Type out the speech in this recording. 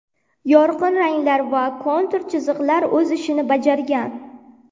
Yorqin ranglar va kontur chiziqlar o‘z ishini bajargan.